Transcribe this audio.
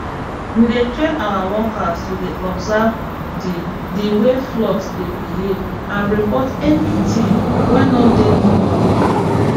we dey train our workers to dey observe the the way flock dey behave and report any thing way no dey normal